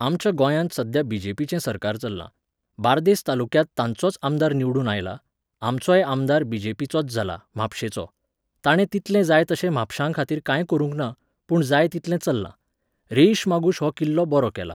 आमच्या गोंयांत सध्या बी.जे.पी.चें सरकार चल्लां. बारदेस तालुक्यांत तांचोच आमदार निवडून आयला, आमचोय आमदार बी.जे.पी.चोच जाला, म्हापशेंचो. तांणें तितलें जाय तशें म्हापशांखातीर कांय करूंक ना, पूण जाय तितलें चल्लां. रेईश मागुश हो किल्लो बरो केला.